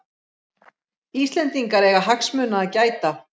Íslendingar eiga hagsmuna að gæta